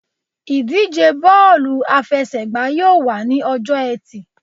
Ìdíje bọ́ọ̀lù àfẹsẹ̀gbá yóò wà ní ọjọ́-ẹtì.